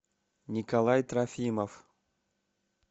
николай трофимов